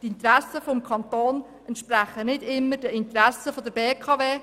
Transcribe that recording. Die Interessen des Kantons entsprechen nicht immer den Interessen der BKW.